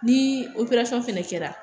Ni operasɔn fɛnɛ kɛra